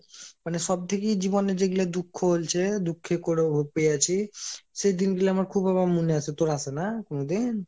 মানে সব থেকে জীবনে যেগুলো দুঃখ হয়েছে দুঃখ করে পেয়েছি সে দিন গুলা আমার খুব মনে আসে তোর আসে না কোনো দিন?